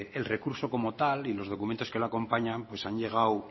el recurso como tal y los documentos que lo acompañan pues han llegado